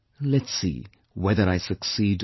Let's see whether I succeed or not